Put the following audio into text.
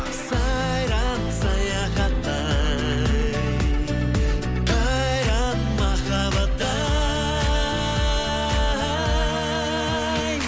сайран саяхатта ай қайран махаббат ай